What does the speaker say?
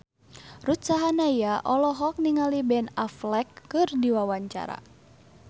Ruth Sahanaya olohok ningali Ben Affleck keur diwawancara